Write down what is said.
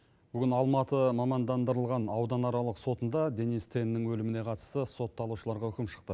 бүгін алматы мамандандырылған ауданаралық сотында денис теннің өліміне қатысты сотталушыларға үкім шықты